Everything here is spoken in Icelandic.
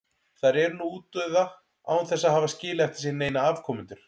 Þær eru nú útdauða án þess að hafa skilið eftir sig neina afkomendur.